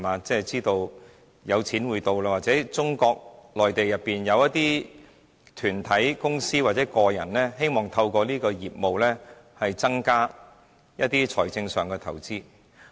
知道有錢會流進香港，或中國內地的一些團體、公司或個人希望透過此行業，增加一些財政上的投資。